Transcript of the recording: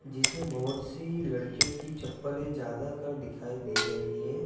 जिसमें बहोत सी लड़कियों की चप्पले ज्यादाकर दिखाई दे रही हैं।